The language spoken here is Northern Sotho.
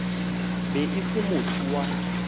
be e se motho wa